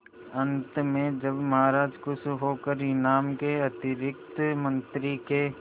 अंत में जब महाराज खुश होकर इनाम के अतिरिक्त मंत्री के